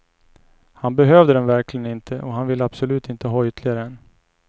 Han behövde den verkligen inte och han vill absolut inte ha ytterligare en.